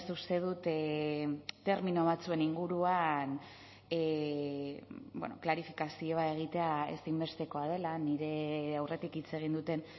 uste dut termino batzuen inguruan klarifikazioa egitea ezinbestekoa dela nire aurretik hitz egin duten